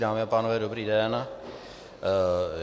Dámy a pánové, dobrý den.